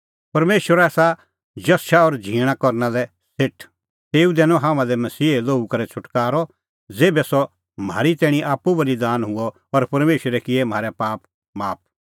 परमेशर आसा जश और झींण करना लै सेठ तेऊ दैनअ हाम्हां लै मसीहे लोहू करै छ़ुटकारअ ज़ेभै सह म्हारी तैणीं आप्पू बल़ीदान हुअ और परमेशरै किऐ म्हारै पाप माफ